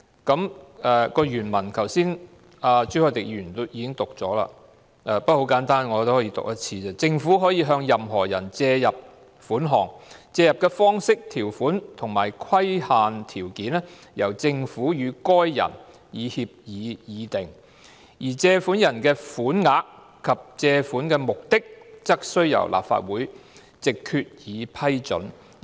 朱凱廸議員剛才已讀出法例原文，但條文很簡單，我可重複一次："政府可向任何人借入款項，借入的方式、條款及規限條件由政府與該人以協議議定，而借入的款額及借款的目的則須由立法會藉決議批准"。